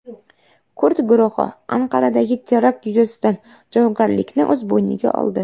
Kurd guruhi Anqaradagi terakt yuzasidan javobgarlikni o‘z bo‘yniga oldi.